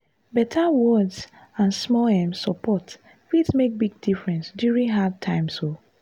better words and small um support fit make big difference during hard times. um